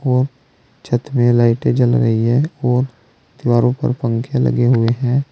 और छत पे लाइटें जल रही है और दीवारों पर पंखे लगे हुए हैं।